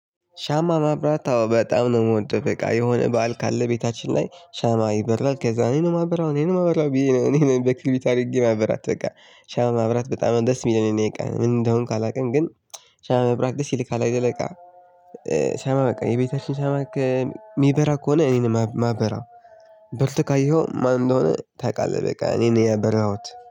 ሻማ ማብራት በጣም ነው የምወደው በቃ የሆነ በዓል ካለ ቤታችን ላይ ሻማ ይበራል ከዛ እኔ ነው ማበራው እኔ ነው ማበራው ብዬ ነው እኔ በክርቢት አድርጌ ማበራት በቃ ሻማ ማብራት በጣም ደስ የሚለኝ ነው። በቃ ምን እንደሆንኩ አላውቅም ግን ሻማ ማብራት ደስ ይልካል። አይደለ በቃ። ሻማ በቃ የቤታችን ሻማ የሚበራ ከሆነ እኔን ማበራው። በርቶ ካየኸው ማን እንደሆነ ታውቃለህ በቃ እኔ ነኝ ያበራሁት